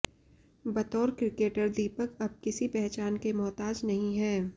बतौर क्रिकेटर दीपक अब किसी पहचान के मोहताज नहीं है